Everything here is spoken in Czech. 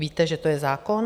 Víte, že to je zákon?